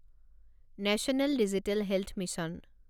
national digital health mission